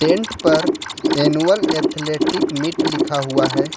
Tent पर annual athletic meet लिखा हुआ है।